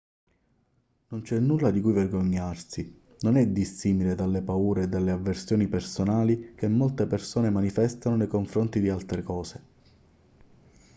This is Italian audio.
non c'è nulla di cui vergognarsi non è dissimile dalle paure e dalle avversioni personali che molte persone manifestano nei confronti di altre cose